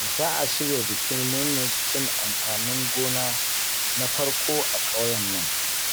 Za a shirya bikin murnar cin amfanin gona na farko a ƙauyen nan